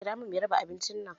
Kira mun mai raba abincin nan